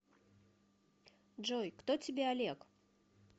джой кто тебе олег